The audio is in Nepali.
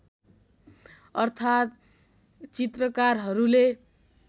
अर्थात् चित्रकारहरूले